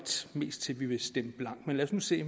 mest til at ville stemme blankt men lad os nu se